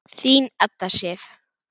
Þín Edda Sif.